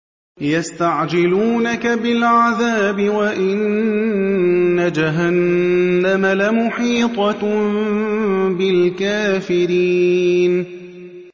يَسْتَعْجِلُونَكَ بِالْعَذَابِ وَإِنَّ جَهَنَّمَ لَمُحِيطَةٌ بِالْكَافِرِينَ